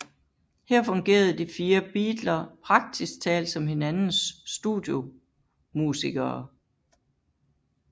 Her fungerede de fire beatler praktisk talt som hinandens studiomusikere